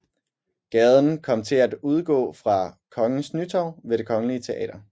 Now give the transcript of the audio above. Gaden kom til at udgå fra Kongens Nytorv ved Det Kongelige Teater